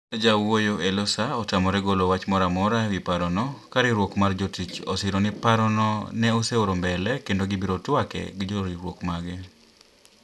Jawuoyo e lo SAA otamore golo wach moro amora e wi parono ka riwruok mar jotich osiro ni parono ne oseoro mbele kendo gi biro twake gi joriwruok mage.